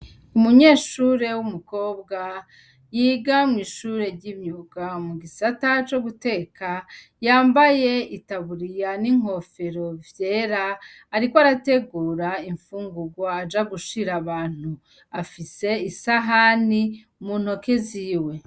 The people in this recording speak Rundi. Umunyeshure w'umukobwa Yiga me’ ishure ry'imyuga ,mugisata co guteka yambaye itaburiya n'inkofero vyera, ariko arategura imfungurwa baja gushira abantu ,afise isahani muntoke ziwe.